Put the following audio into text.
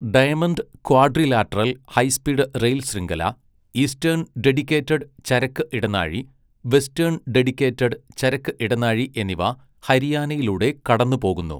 Diamond quadrilateral high speed rail ശൃംഖല, eastern dedicated ചരക്ക് ഇടനാഴി, വെസ്റ്റേൺ ഡെഡിക്കേറ്റഡ് ചരക്ക് ഇടനാഴി എന്നിവ ഹരിയാനയിലൂടെ കടന്നുപോകുന്നു.